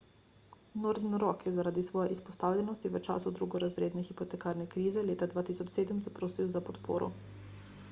northern rock je zaradi svoje izpostavljenosti v času drugorazredne hipotekarne krize leta 2007 zaprosil za podporo